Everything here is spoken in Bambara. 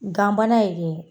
Ganbana ye de